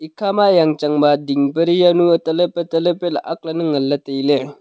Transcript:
ekha ma yang chang ba ding peri jaonu taley pe taley pe ley aak lan ne ngan ley tai ley.